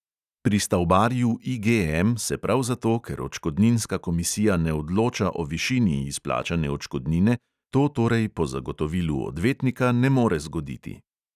Pri stavbarju IGM se prav zato, ker odškodninska komisija ne odloča o višini izplačane odškodnine, to torej po zagotovilu odvetnika ne more zgoditi.